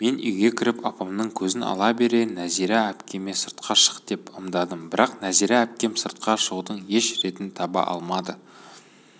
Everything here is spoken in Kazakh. мен үйге кіріп апамның көзін ала бере нәзира әпкеме сыртқа шық деп ымдадым бірақ нәзира әпкем сыртқа шығудың еш ретін таба алмады